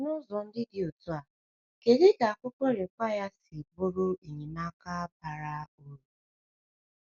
N’ụzọ ndị dị otú a, kedu ka akwụkwọ Require si bụrụ enyemaka bara uru?